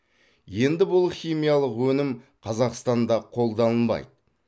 енді бұл химиялық өнім қазақстанда қолданылмайды